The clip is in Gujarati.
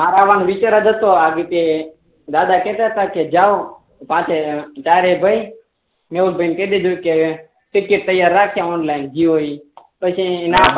મારા મા દાદા કેહતા તા કે જાઓ સાથે જયારે ગઈ ને એમ કહી દીધું કે ટીકીટ તૈયાર રાખે ઓનલાઈન જીઓ ઈ પછી નાં